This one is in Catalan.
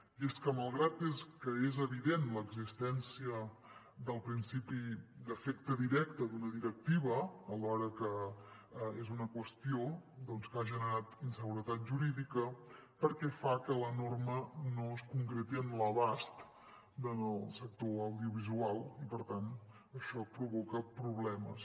i és que malgrat que és evident l’existència del principi d’efecte directe d’una directiva alhora és una qüestió que ha generat inseguretat jurídica perquè fa que la norma no es concreti en l’abast del sector audiovisual i per tant això provoca problemes